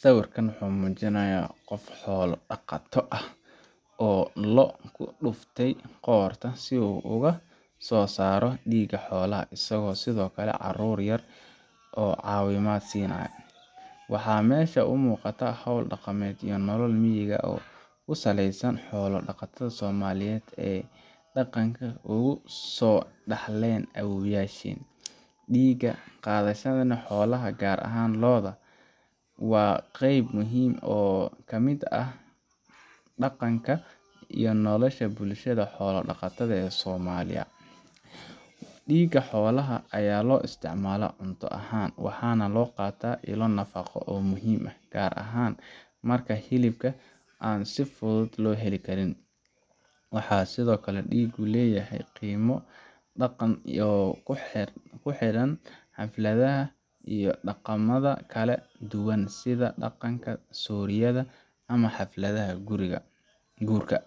Sawirkan wuxuu mujinayaa qof xola daqato ah oo lo dufte qorta si u oga sosaro diga xolaha, isga sithokale carur yar cawimaad sinayo waxaa mesha u muqataa hol daqameedyo meega oo kusaleysa xola daqatadha somaliyeed ee daqan ogu so Darlene abobyasha, diga qadhasadhana gar ahan lodha waaa qeyb muhiim ah oo kamiid ah daqanka iyo noloshaa bulshaada somaliya, diga xolaha aya lo isticmala cunto ahan waxana loqataa dilo nafaqo oo muhiim ah oo an sifuudud lo heli karin, waxaa sithokale digu u leyahay qimo daqan iyo kuxiran xaflaadaha iyo daqamaada kala duwan sitha daqanka suliyadha ama xaflaadaha gurika